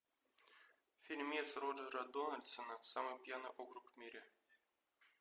фильмец роджера дональдсона самый пьяный округ в мире